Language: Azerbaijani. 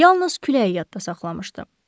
Yalnız küləyi yadda saxlamışdı.